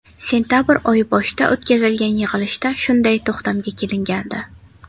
Sentabr oyi boshida o‘tkazilgan yig‘ilishda shunday to‘xtamga kelingandi.